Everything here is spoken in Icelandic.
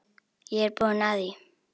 Ég er búinn að því.